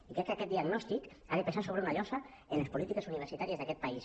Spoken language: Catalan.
i crec que aquest diagnòstic ha de pesar com una llosa en les polítiques universitàries d’aquest país